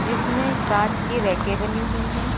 जिसमें कांच की रैके बनी हुई है।